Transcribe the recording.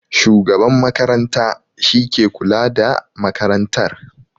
Shugaban makaranta shi ke kula da makarantar